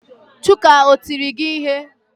Chuka o tiri gi ihe?